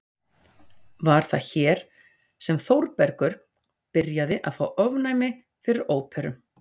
Var það hér sem Þórbergur byrjaði að fá ofnæmi fyrir óperum?